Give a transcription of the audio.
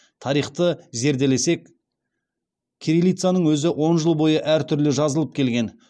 тарихты зерделесек кириллицаның өзі он жыл бойы әртүрлі жазылып келген